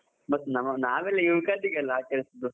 ಮತ್ತೆ ನಾವ್~ ನಾವೆಲ್ಲಾ ಯುಗಾದಿಗೆ ಅಲ್ಲ ಆಚರಿಸುವುದು.